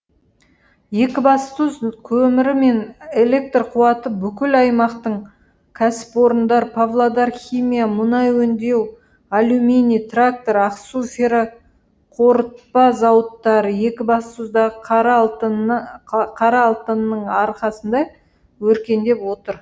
екібастұз көмірі мен электр қуаты бүкіл аймақтың кәсіпорындар павлодар химия мұнай өңдеу алюминий трактор ақсу ферроқорытпа зауыттары екібастұздағы қара алтынның арқасында өркендеп отыр